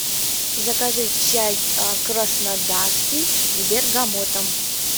закажи чай краснодарский с бергамотом